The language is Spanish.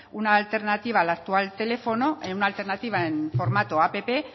una alternativa al actual teléfono en una alternativa en formato app